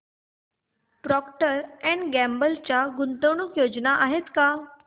Procter and Gamble च्या गुंतवणूक योजना आहेत का